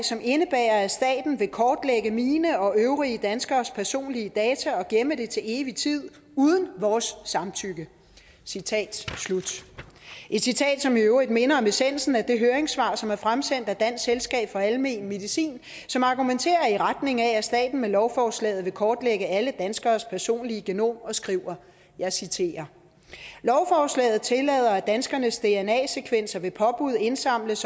som indebærer at staten vil kortlægge mine og øvrige danskeres personlige data og gemme dem til evig tid uden vores samtykke citat slut et citat som i øvrigt minder om essensen af det høringssvar som er fremsendt af dansk selskab for almen medicin som argumenterer i retning af at staten med lovforslaget vil kortlægge alle danskeres personlige genom og skriver jeg citerer lovforslaget tillader at danskernes dna sekvenser ved påbud indsamles